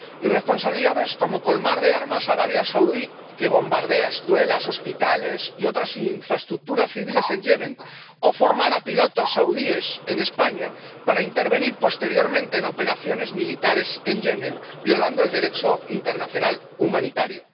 Irresponsabilidades como colmar de armas a Arabia Saudí, que bombardea escuelas, hospitales y otras infraestructuras civiles en Yemen. O formar a pilotos saudíes en España para intervenir posteriormente en operaciones militares en Yemen, violando el Derecho internacional humanitario.